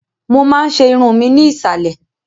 Mo máa n ṣe irun mu ni iìsàlẹ̀.